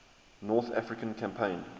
north african campaign